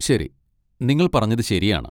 ശരി, നിങ്ങൾ പറഞ്ഞത് ശരിയാണ്.